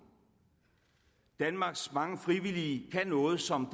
danmarks mange frivillige kan noget som